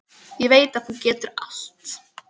Ég veit að þú getur allt.